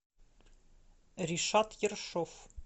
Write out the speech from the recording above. ришат ершов